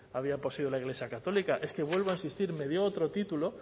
había poseído la iglesia católica es que vuelvo a insistir me dio otro título